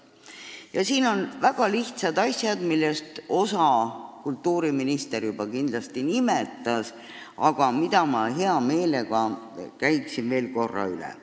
Ja siin aitaksid väga lihtsad ettevõtmised, millest osa kultuuriminister juba nimetas, aga mis ma hea meelega käin veel korra üle.